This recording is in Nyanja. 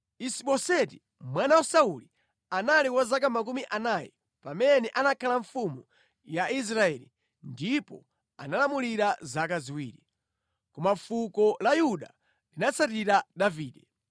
Isi-Boseti mwana wa Sauli anali wa zaka makumi anayi pamene anakhala mfumu ya Israeli ndipo analamulira zaka ziwiri. Koma fuko la Yuda linatsatira Davide.